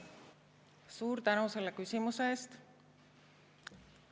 Suur tänu selle küsimuse eest!